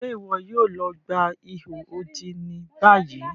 Ṣe iwọ yoo lọ gba iho odi ni bayi?